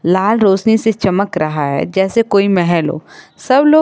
लाल रोशनी से चमक रहा है जैसे कोई महल हो सब लोग--